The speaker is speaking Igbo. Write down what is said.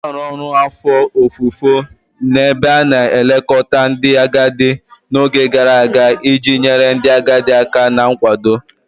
Na-arụ ọrụ afọ ofufo n'ebe a na-elekọta ndị agadi n'oge gara aga iji nyere ndị agadi aka na nkwado